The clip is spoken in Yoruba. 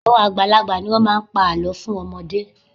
Àwọn àgbàlagbà ni wọ́n máa ń pa àlọ́ fún ọmọdé